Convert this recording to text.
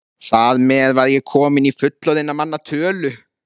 Þar með var ég komin í fullorðinna manna tölu.